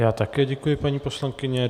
Já také děkuji, paní poslankyně.